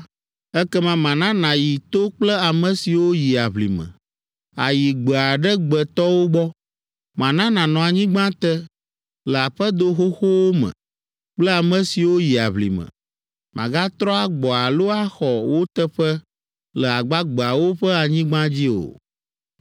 ekema mana nàyi to kple ame siwo yi aʋlime, àyi gbe aɖe gbe tɔwo gbɔ. Mana nànɔ anyigba te, le aƒedo xoxowo me kple ame siwo yi aʋlime, màgatrɔ agbɔ alo axɔ wò teƒe le agbagbeawo ƒe anyigba dzi o.